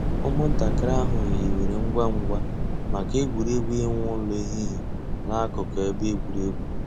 Ụ́mụ̀ntàkìrì àhụ̀ hìwèrè ngwá ngwá mǎká ègwè́régwụ̀ ị̀wụ̀ èlù èhìhìè n'àkùkò èbè ègwè́régwụ̀.